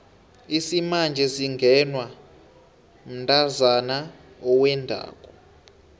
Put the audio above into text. isimanje singenwa mntazana owendako